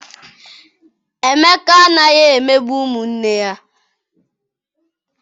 Emeka anaghị emegbu ụmụ nne ya.